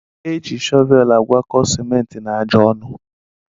Eji shọvel agwọkọ ciment na aja ọnụ.